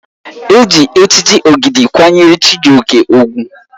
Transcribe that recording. Eji echichi Ogide kwanyere Chijioke ugwu.